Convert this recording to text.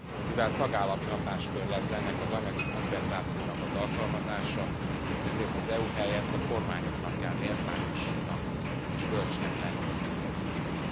Mivel tagállami hatáskör lesz ennek az anyagi kompenzációnak az alkalmazása, ezért az EU helyett a kormányoknak kell méltányosnak és bölcsnek lenniük e kérdésben.